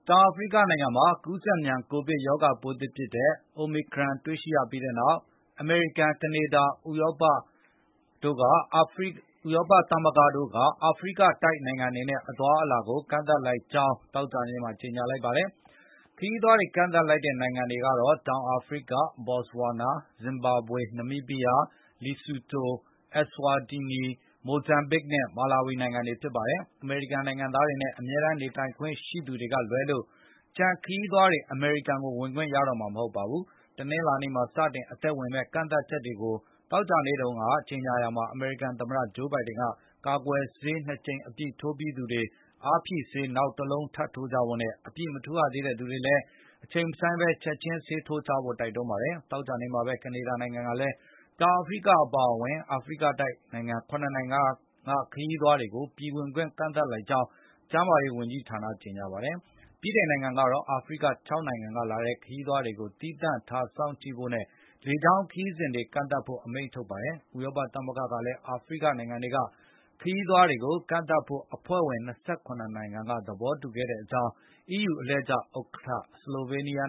တောင်အာဖရိကနိုင်ငံမှာ ကူးစက်မြန် ကိုဗစ်ရောဂါပိုးသစ်ဖြစ်တဲ့ Omicron အိုမီခရန် တွေ့ရှိရပြီးတဲ့နောက်၊ အမေရိကန်၊ ကနေဒါနဲ့ ဥရောပသမဂ္ဂ (EU) တို့က အာဖရိကတိုက် နိုင်ငံတွေနဲ့ အသွားအလာတွေကို ကန့်သတ်လိုက်ကြောင်း သောကြာနေ့မှာ ကြေညာလိုက်ပါတယ်။ ခရီးသွားတွေ ကန့်သတ်လိုက်တဲ့ နိုင်ငံတွေကတော့ တောင်အာဖရိက၊ ဘော်စဝါနာ၊ ဇင်ဘာဘွေ၊ နမီးဘီးယား၊ လီဆူတို၊ အက်စဝါတီနီ၊ မိုဇမ်ဘစ် နဲ့ မာလာဝီ နိုင်ငံတွေဖြစ်ပါတယ်။ အမေရိကန်နိုင်ငံသားတွေနဲ့ အမြဲတမ်းနေထိုင်ခွင့် ရှိသူတွေကလွဲလို့ ကျန်တဲ့ ခရီးသွားတွေ အမေရိကန်ကို ဝင်ခွင့်ရမှာ မဟုတ်ပါဘူး။ တနင်္လာနေ့မှာ စတင်အသက်ဝင်မယ့် ကန့်သတ်ချက်ကို သောကြာနေ့က ကြေညာရာမှာ အမေရိကန်သမ္မတ Joe Biden က ကာကွယ်ဆေး ၂ ကြိမ်အပြည့် ထိုးပြီးသူတွေ အားဖြည့်ဆေး နောက်တလုံး ထပ်ထိုးကြဖို့နဲ့ အပြည့်မထိုးရသေးတဲ့ သူတွေလည်း အချိန်မဆိုင်းပဲ ချက်ခြင်း ဆေးထိုးကြဖို့ တိုက်တွန်းခဲ့ပါတယ်။ သောကြာနေ့မှာပဲ ကနေဒါနိုင်ငံကလည်း တောင်အာဖရိက အပါအဝင် အာဖရိကတိုက်က နိုင်ငံ ၇ နိုင်ငံက ခရီးသွားတွေကို ပြည်ဝင်ခွင့် ကန့်သတ်လိုက်ကြောင်း ကျန်းမာရေး ဝန်ကြီးက သောကြာနေ့မှာပဲ ကြေညာခဲ့ပါတယ်။ ဗြိတိန်နိုင်ငံကတော့ အာဖရိက ၆ နိုင်ငံကလာတဲ့ ခရီးသွားတွေကို သီးသန့်ထားစောင့်ကြည့်ဖို့နဲ့ လေကြောင်းခရီးစဉ်တွေကို ကန့်သတ်ဖို့ အမိန့်ထုတ်ခဲ့တာပါ။ ဥရောပသမဂ္ဂကလည်း အာဖရိကနိုင်ငံတွေက ခရီးသွားတွေကို ကန့်သတ်ဖို့ အဖွဲ့ဝင် ၂၇ နိုင်ငံက သဘောတူခဲ့ကြကြောင်း EU အလှည့်ကျ ဥက္ကဋ္ဌ ဆလိုဗေးနီးယား